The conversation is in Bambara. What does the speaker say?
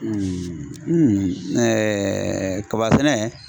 kaba sɛnɛ